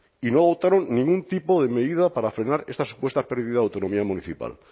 y no adoptaron ningún tipo de medida para frenar esta supuesta pérdida de autonomía municipal